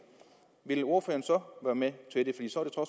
ville ordføreren så være med at